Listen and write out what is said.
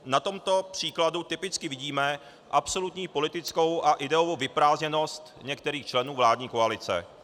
Na tomto příkladu typicky vidíme absolutní politickou a ideovou vyprázdněnost některých členů vládní koalice.